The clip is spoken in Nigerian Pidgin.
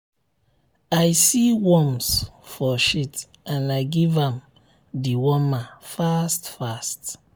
i see worms for shit and i give am dewormer fast fast.